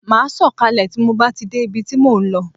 Ma sọ kalẹ tí mo bá ti dé ibi tí mo ń lọ